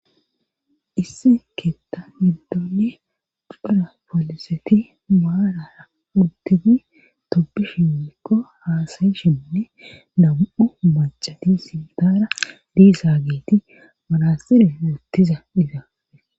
Issi keeththaa giddonne phara pooliseti maalara udtidi tobishi mikko haasayshinne dam7u macadi sindara diisa geeti marasire wuuttiza dida.